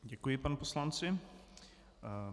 Děkuji panu poslanci.